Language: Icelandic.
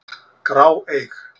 grá, eig.